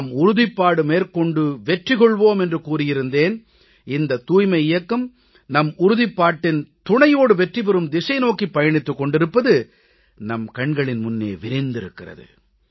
நாம் உறுதிப்பாடு மேற்கொண்டு வெற்றி கொள்வோம் என்று கூறியிருந்தேன் இந்த தூய்மை இயக்கம் நம் உறுதிப்பாட்டின் துணையோடு வெற்றி பெறும் திசை நோக்கிப் பயணித்துக் கொண்டிருப்பது நம் கண்களின் முன்னே விரிந்திருக்கிறது